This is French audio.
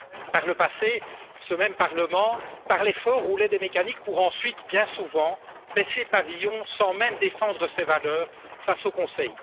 Par le passé, ce même Parlement parlait fort, roulait des mécaniques pour ensuite, bien souvent, baisser pavillon sans même défendre ses valeurs face au Conseil.